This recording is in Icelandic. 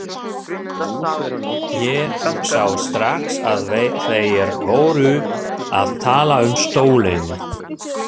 Ég sá strax að þeir voru að tala um stólinn.